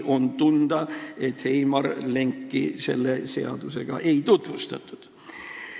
On tunda, et Heimar Lengile seda seaduseelnõu nähtavasti ei tutvustatud.